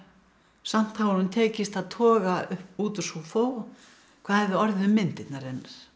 samt hafi honum tekist að toga út úr Seuphor hvað hefði orðið um myndirnar hennar